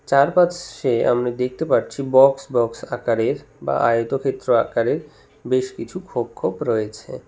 চারপাচশে আমরা দেখতে পারছি বক্স বক্স আকারের বা আয়তক্ষেত্র আকারের বেশ কিছু খোপ খোপ রয়েছে।